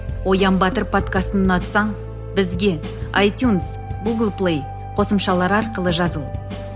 оян батыр подкастын ұнатсаң бізге айтюнс гулг плей қосымшалары арқылы жазыл